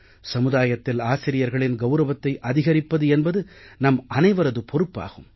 சமுதாயத்தில் ஆசிரியர்களின் கௌரவத்தை அதிகரிப்பது என்பது நம்மனைவரது பொறுப்பாகும்